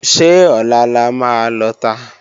Ṣé Ọ̀la la máa lọta?